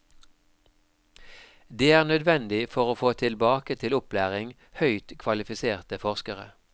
Det er nødvendig for å få tilbake til opplæring høyt kvalifiserte forskere.